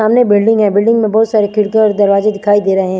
सामने बिल्डिंग है बिल्डिंग में बहोत सारी खिडकिया और दरवाजे दिखाई दे रहे हैं।